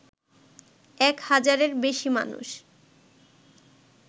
এক হাজারের বেশি মানুষ